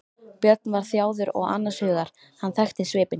Björn var þjáður og annars hugar, hann þekkti svipinn.